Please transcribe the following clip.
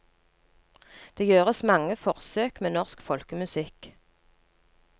Det gjøres mange forsøk med norsk folkemusikk.